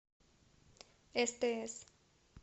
стс